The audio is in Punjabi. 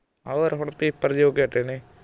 ਹੋਰ ਹੁਣ ਪੇਪਰ ਜਿਹੇ ਹੋਕੇ ਹਟੇ ਨੇ